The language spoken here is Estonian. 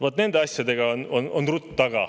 Vaat nende asjadega on rutt taga!